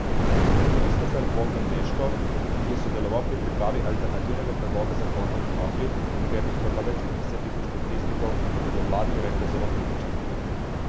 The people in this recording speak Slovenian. Kristofer Bogdan Meško, ki je sodeloval pri pripravi alternativnega predloga zakona o konoplji, ki ga je podprlo več kot deset tisoč podpisnikov, je do vladne uredbe zelo kritičen.